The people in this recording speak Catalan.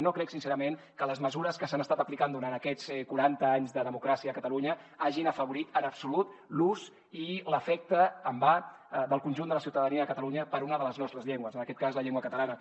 no crec sincerament que les mesures que s’han estat aplicant durant aquests quaranta anys de democràcia a catalunya hagin afavorit en absolut l’ús i l’afecte amb a del conjunt de la ciutadania de catalunya per una de les nostres llengües en aquest cas la llengua catalana